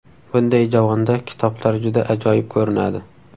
Bunday javonda kitoblar juda ajoyib ko‘rinadi.